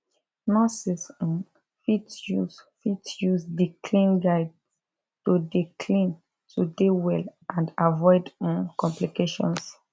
nurses um fit use fit use di clean guides to dey clean to dey well and avoid um complications